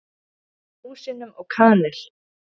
Fyllið með rúsínum og kanil.